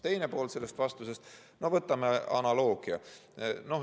Teine pool sellest vastusest: no võtame analoogia.